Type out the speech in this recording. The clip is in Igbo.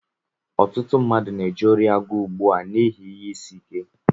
Ọtụtụ mmadụ na-eje ori agụụ ugbu a n'ihi ihe ịsị ike